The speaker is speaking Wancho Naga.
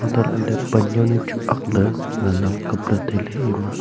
untoh lahley pan jawnu chu akley ngan ang kap ley ang tailey ema.